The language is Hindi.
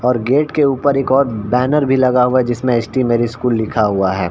और गेट के ऊपर एक और बैनर भी लगा हुआ है जिसमें ऊपर एस.टी. मेरी स्कूल लिखा हुआ है।